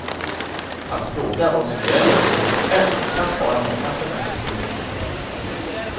Att fråga vad som gäller på ditt hotell kan spara många semesterkronor.